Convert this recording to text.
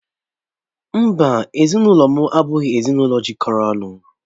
Mbá, ezinụlọ m abụghị ezinụlọ jikọrọ ọnụ.